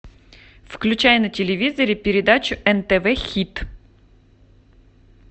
включай на телевизоре передачу нтв хит